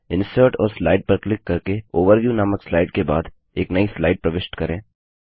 insert और slide पर click करके ओवरव्यू नामक स्लाइड के बाद एक नई स्लाइड प्रविष्ट करें